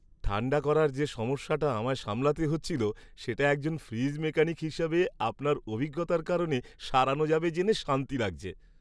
ঠাণ্ডা করার যে সমস্যাটা আমায় সামলাতে হচ্ছিল, সেটা একজন ফ্রিজ মেকানিক হিসাবে আপনার অভিজ্ঞতার কারণে সারানো যাবে জেনে শান্তি লাগছে।